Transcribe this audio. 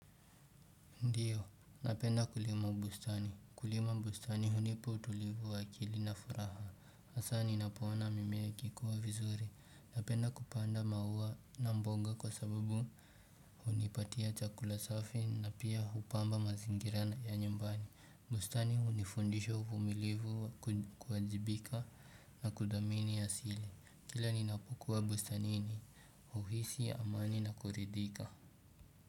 Ndiyo, napenda kulima bustani. Kulima bustani hunipa utulivu wa akilina furaha. Hasa ninapoona mimee ikikuwa vizuri. Napenda kupanda maua na mboga kwa sababu hunipatia chakula safi na pia hupamba mazingirana ya nyumbani. Bustani hunifundisho uVumilivu kuwajibika na kuthamini a sili. Kila ninapokuwa bustanini, huhisi, amani na kuridhika.